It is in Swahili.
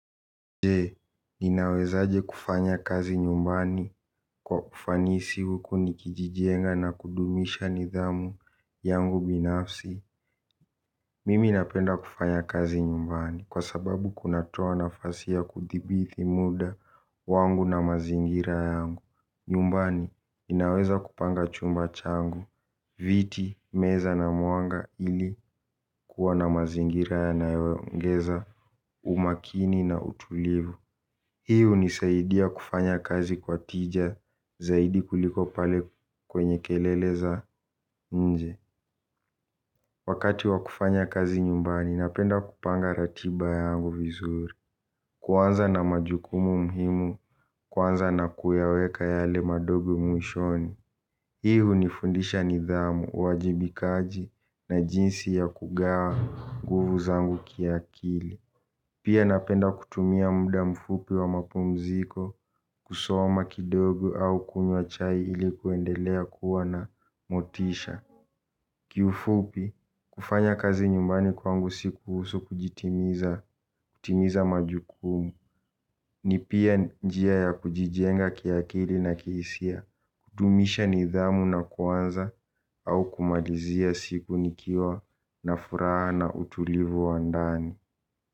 Je, ninawezaje kufanya kazi nyumbani kwa ufanisi huku nikijijenga na kudumisha nidhamu yangu binafsi. Mimi napenda kufanya kazi nyumbani kwa sababu kunatoa nafasi ya kudhibiti muda wangu na mazingira yangu. Nyumbani, ninaweza kupanga chumba changu, viti, meza na mwanga ili kuwa na mazingira yanayoongeza umakini na utulivu. Hii hunisaidia kufanya kazi kwa tija, zaidi kuliko pale kwenye kelele za nje. Wakati wa kufanya kazi nyumbani, napenda kupanga ratiba yangu vizuri. Kuanza na majukumu muhimu, kwanza na kuyaweka yale madogo mwishoni. Hii hunifundisha nidhamu, uwajibikaji na jinsi ya kugawa nguvu zangu kiakili. Pia napenda kutumia muda mfupi wa mapumziko kusoma kidogu au kunywa chai ili kuendelea kuwa na motisha. Kiufupi, kufanya kazi nyumbani kwangu si kuhusu kujitimiza majukumu. Ni pia njia ya kujijenga kiakili na kihisia, kudumisha nidhamu na kuanza au kumalizia siku nikiwa na furaha na utulivu wa ndani.